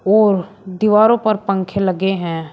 और दीवारों पर पंखे लगे हैं।